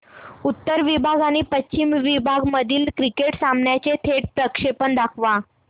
उत्तर विभाग आणि पश्चिम विभाग मधील क्रिकेट सामन्याचे थेट प्रक्षेपण दाखवा